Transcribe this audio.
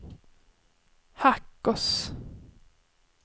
Hackås